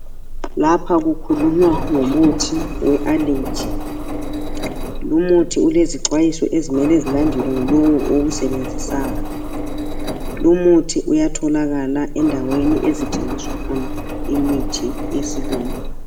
Lapha kukhulunywa ngomuthi weAllergy. Lumuthi ulezixwayiso, ezimele zilandelwe ngulowu owusebenzisayo. Lumuthi uyatholakala endaweni ezithengisa khona, imithi yesilungu.